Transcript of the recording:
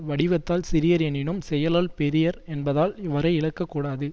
வடிவத்தால் சிறியர் எனினும் செயலால் பெரியர் என்பதால் இவரை இகழக்கூடாது